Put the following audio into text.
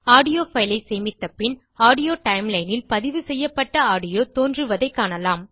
audio file ஐ சேமித்த பின் ஆடியோ டைம்லைன் ல் பதிவு செய்யப்பட்ட ஆடியோ தோன்றுவதைக் காணலாம்